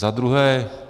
Za druhé.